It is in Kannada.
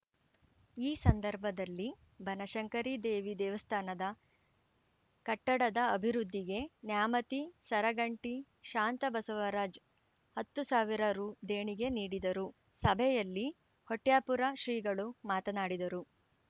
ಈ ಸಂದರ್ಭದಲ್ಲಿ ಬನಶಂಕರಿ ದೇವಿ ದೇವಸ್ಥಾನ ಕಟ್ಟಡದ ಅಭಿವೃದ್ಧಿಗೆ ನ್ಯಾಮತಿ ಸರಗಂಟಿ ಶಾಂತಬಸವರಾಜ್‌ ಹತ್ತು ಸಾವಿರ ರೂ ದೇಣಿಗೆ ನೀಡಿದರು ಸಭೆಯಲ್ಲಿ ಹೊಟ್ಯಾಪುರ ಶ್ರೀಗಳು ಮಾತನಾಡಿದರು